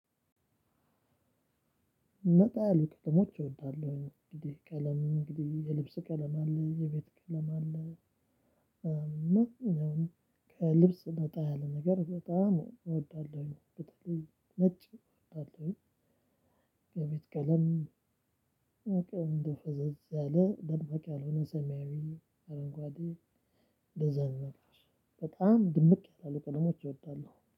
ነጣ ያሉ ቀለሞች እወዳለሁኝ እንግዲህ ቀለም የልብስ ቀለም አለ የቤት ቀለም አለ። እና ማንኛውም ከልብስ ነጣ ያለ ነገር በጣም እወዳለሁ በተለይ ነጭ እወዳለሁኝ። የቤት ቀለም። ፈዘዘ ያለ ደማቅ ያልሆነ ሰማያዊ አረንጓዴ እንደዛ አይነት ነገሮች በጣም ድምቅ ያላሉ ቀለሞች እወዳለሁ